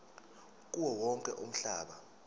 kuwo wonke umhlaba